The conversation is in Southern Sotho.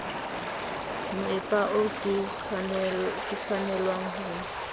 moepa oo ke tshwanelwang ho